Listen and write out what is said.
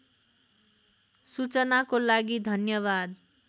सूचनाको लागि धन्यवाद